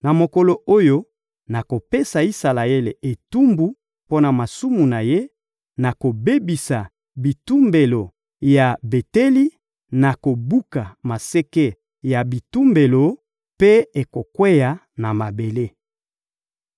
«Na mokolo oyo nakopesa Isalaele etumbu mpo na masumu na ye, nakobebisa bitumbelo ya Beteli, nakobuka maseke ya bitumbelo, mpe ekokweya na mabele.